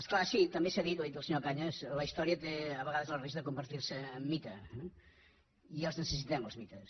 és clar sí també s’ha dit ho ha dit el senyor cañas la història té a vegades el risc de convertir se en mite eh i els necessitem els mites